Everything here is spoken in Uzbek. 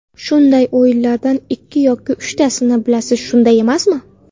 Shunday o‘yinlardan ikki yoki uchtasini bilasiz, shunday emasmi?